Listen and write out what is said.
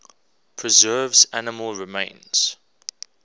preserves animal remains